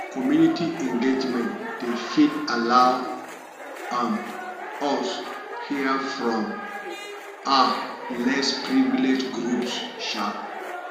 community engagement dey fit allow um us here from um less privileged groups um